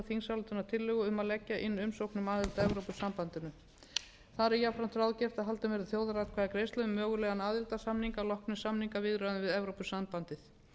þingsályktunartillögu um að leggja inn umsókn um aðild að evrópusambandinu þar er jafnframt ráðgert að haldin verði þjóðaratkvæðagreiðsla um mögulegan aðildarsamning að loknum samningaviðræðum við evrópusambandið